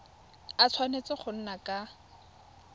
a tshwanetse go nna ka